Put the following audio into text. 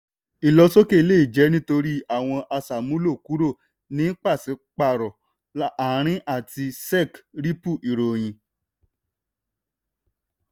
ìlọsọ́kè lè jẹ́ nítorí àwọn aṣàmúlò kúrò ní pàṣípàrọ̀ àárín àti sec-ripple ìròyìn.